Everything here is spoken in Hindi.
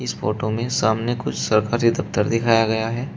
इस फोटो में सामने कुछ सरकारी दफ्तर दिखाया गया है।